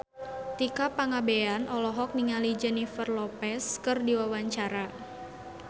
Tika Pangabean olohok ningali Jennifer Lopez keur diwawancara